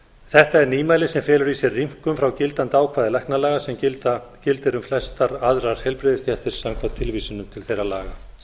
þetta er nýmæli sem felur í sér rýmkun frá gildandi ákvæði læknalaga sem gildir um flestar aðrar heilbrigðisstéttir samkvæmt tilvísunum til þeirra laga